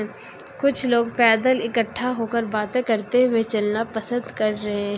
कुछ लोग पैदल इकट्ठा होकर बातें करते हुए चलना पसंद कर रहे--